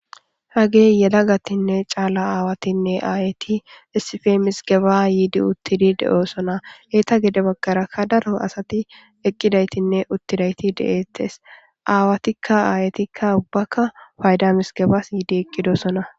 Hagey yela gatinne caala aawatinne aayeti essife misgeba yiidi uttidi de7oosona heeta gede baggarakka daro asati eqqidaytinne uttidayti deeettes aawatikka aayetikka ubbaka fayda misgebas yiidi eqqido sona.